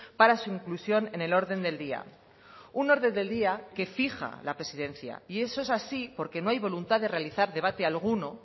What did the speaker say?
para su inclusión en el orden del día un orden del día que fija la presidencia y eso es así porque no hay voluntad de realizar debate alguno